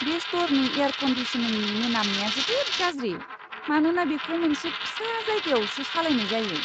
बे स्ट'रनि एयार कन्दिसनिंनि मोनामनाया जोबोद गाज्रि, मानोना बेखौ मोनसे फिसा जायगायावसो सालायनाय जायो!